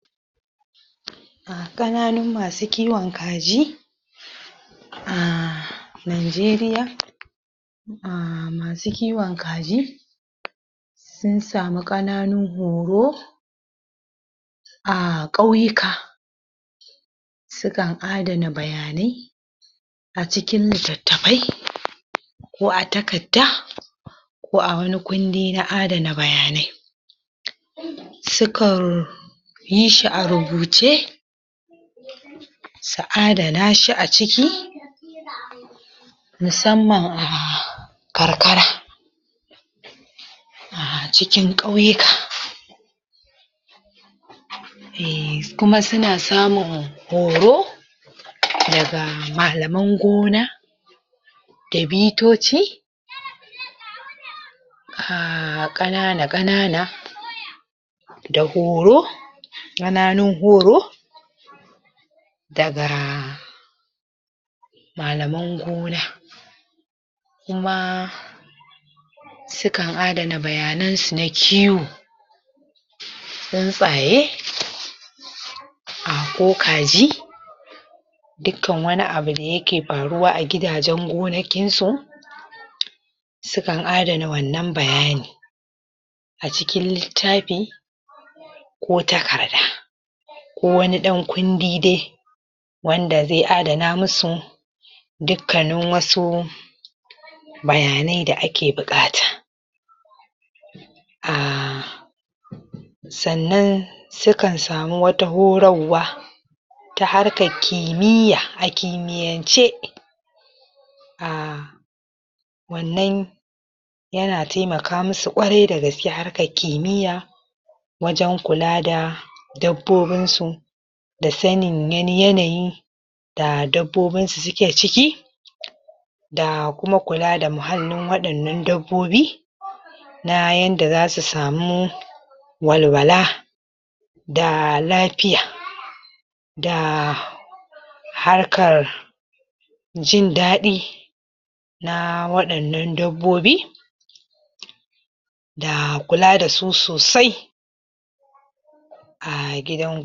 Ƙananun masu kiwon kaji, ahh Najeriya, ahh masu kiwon kaji, sun sami ƙananun horo, a.. ƙauyuka, sukan adana bayanai, a cikin littattafai, ko a takadda, ko a wani kundi na adana bayanai. Suka, yi shi a rubuce su adana shi a ciki, musamman a karkara, a cikin ƙauyuka, Ehhm kuma suna samin horo, daga malaman gona, da bitoci, ahhh ƙanana-ƙanana, da horo, ƙananun horo, daga, malaman gona, kuma, sukan adana bayanansu na kiwo, tsuntsaye ahh ko kaji, dukan wani abu da yake faruwa a giodajen gonakinsu, sukan adana wannan bayani, a cikin littafi, ko taƙarda, ko wanin ɗan kundi dai, wanda zai adana musu, dukannin wasu, bayanai da ake buƙata. Ahh sannan sukan sami wata horarwa ta harkar kimiya, a kimiyance, ahhh wannan yana taimaka musu ƙwarai da gaske, harkar kimiya wajen kula da dabbobinsu, da sani wani yanayi, da dabbobin da suke ciki, da kuma kula da muhallin waɗannan dabbobi, na yadda za su samu, walwala, da lafiya, da harkar, jin daɗi, na waɗannan dabbobi da kula da su sosai a gidan gona.